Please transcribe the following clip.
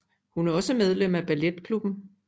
Hun er også medlem af balletklubben